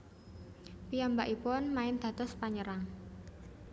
Piyambakipun main dados panyerang